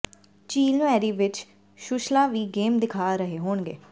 ਝੀਲ ਮੈਰੀ ਵਿਚ ਸ਼ੁਲਲਾ ਵੀ ਗੇਮ ਦਿਖਾ ਰਹੇ ਹੋਣਗੇ